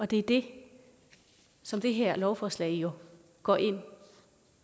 det er det som det her lovforslag jo går ind